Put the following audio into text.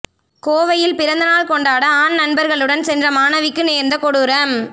கோவையில் பிறந்தநாள் கொண்டாட ஆண் நண்பர்களுடன் சென்ற மாணவிக்கு நேர்ந்த கொடூரம்